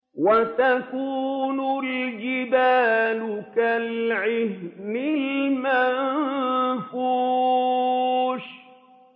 وَتَكُونُ الْجِبَالُ كَالْعِهْنِ الْمَنفُوشِ